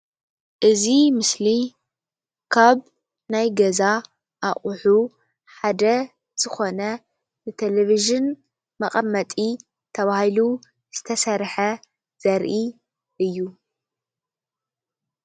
እዚ ምስሊ ካብ ናይ ገዛ ኣቕሑ ሓደ ዝኾነ ን ተለቪዥን መቀመጢ ተባሂሉ ዝተሰርሐ ዘርኢ እዩ፡፡